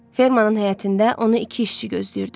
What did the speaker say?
Fermanın həyətində onu iki işçi gözləyirdi.